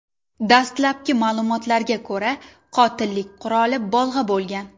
Dastlabki ma’lumotlarga ko‘ra, qotillik quroli bolg‘a bo‘lgan.